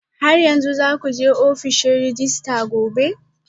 Har yanzu za ku je ofishin rejista gobe?